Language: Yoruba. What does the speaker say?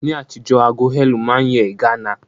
Ní àtijọ́, ago heirloom ma n yẹ ìganá